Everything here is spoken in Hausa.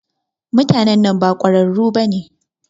Mutanan ba kwararu bane.